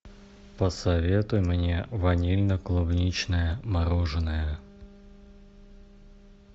посоветуй мне ванильно клубничное мороженое